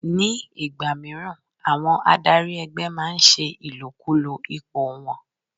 Ní ìgbà míràn, àwọn adarí ẹgbẹ́ máa ń ṣe ìlòkulò ipò wọn.